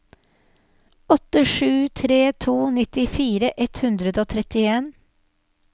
åtte sju tre to nittifire ett hundre og trettien